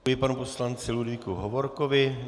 Děkuji panu poslanci Ludvíku Hovorkovi.